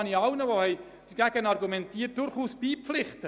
Allen, die entsprechend argumentiert haben, kann ich durchaus beipflichten.